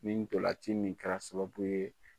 Nin ndolanci min kɛra sababu ye